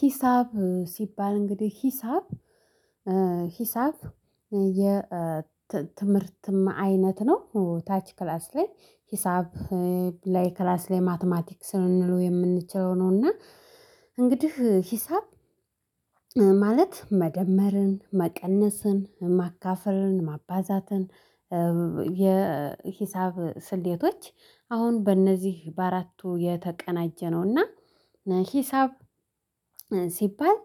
ሂሳብ ሲባል እንግዲህ ሂሳብ ሂሳብ የትምህርትም አይነት ነው ታች ክላስ ላይ ሂሳብ ላይ ክላስ ላይ ማትማቲክ ስንሉ የምንችለው ነው። እና እንግዲህ ሂሳብ ማለት መደመርን መቀነስን ማካፈርን ማባዛትን የሂሳብ ስሌቶች አሁን በእነዚህ በአራቱ የተቀናጀ ነውና ሂሳብ ሲባል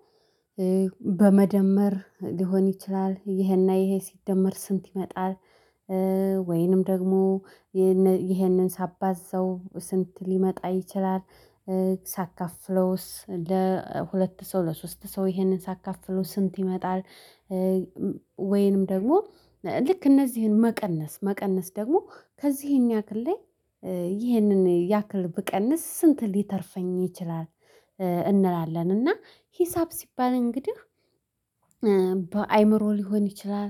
በመደመር ሊሆን ይችላል ይሄና ይሄ ሲደመር ስንት ይመጣል? ወይንም ደግሞ ይሄንን ሳባዘው ስንት ሊመጣ ይችላል? ሳካፍለውስ ለሁለት ሰው ለሶስት ሰው ይሄንን ሳካፍለው ስንት ይመጣል? ወይንም ደግሞ ልክ እነዚህን መቀነስ መቀነስ ደግሞ ከዚህኛው ክሌ ይሄንን ያክል ብቀንስ ስንት ሊተርፈኝ ይችላል? እንላለን እና ሂሳብ ሲባል እንግዲህ በአእምሮ ሊሆን ይችላል።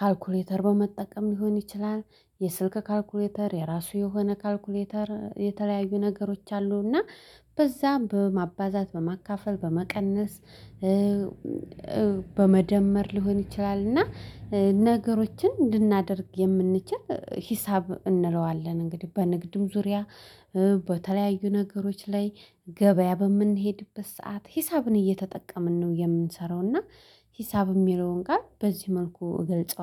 ካልኩሌተር በመጠቀም ሊሆን ይችላል። የስልክ ካልኩሌተር የራሱ የሆነ ካልኩሌተር የተለያዩ ነገሮች አሉና በዛም በማባዛት በማካፈል በመቀነስ በመደመር ሊሆን ይችላል። እና ነገሮችን እንድናደርግ የምንችል ሂሳብ እንለዋለን። እንግዲህ በንግድም ዙሪያ በተለያዩ ነገሮች ላይ ገበያ በምንሄድበት ሰዓት ሂሳብን እየተጠቀምን ነው የምንሰራው። እና ሂሳብ የሚለውን ጋር በዚህ መልኩ እገልጸዋለሁ